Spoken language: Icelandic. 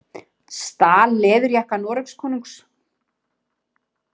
Stal leðurjakka Noregskonungs